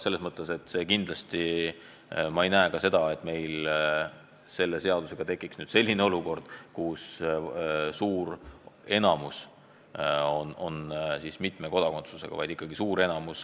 Selles mõttes ma ei usu, et meil topeltkodakondsuse tõttu tekiks suur probleem.